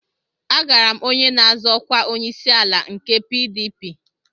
Agara m onye na-azọ ọkwa onyeisiala nke PDP